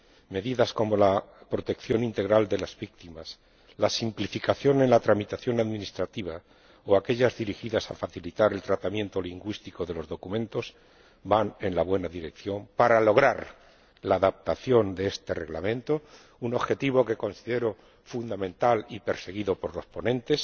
Medidas como la protección integral de las víctimas, la simplificación en la tramitación administrativa, o las dirigidas a facilitar el tratamiento lingüístico de los documentos, van en la buena dirección para lograr la adaptación de este reglamento, un objetivo que considero fundamental y perseguido por los ponentes,